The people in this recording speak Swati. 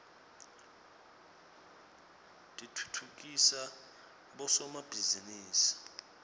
titfutfukisa bosomabhizinisi